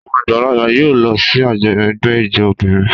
Àwọn àgbààgbà yóò lọ sí àjọyọ̀ ẹgbẹ́ ijó obìnrin.